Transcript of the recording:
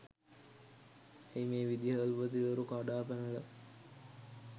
ඇයි මේ විදුහල්පතිවරු කඩාපැනල